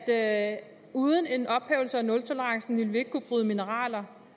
at uden en ophævelse af nultolerancen ville vi ikke kunne bryde mineraler